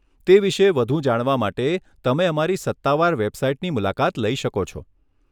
તે વિશે વધુ જાણવા માટે તમે અમારી સત્તાવાર વેબસાઇટની મુલાકાત લઈ શકો છો.